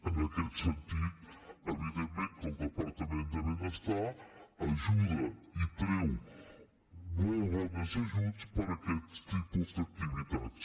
en aquest sentit evidentment que el departament de benestar ajuda i treu molt bons ajuts per a aquests tipus d’activitats